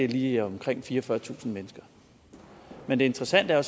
lige omkring fireogfyrretusind mennesker men det interessante er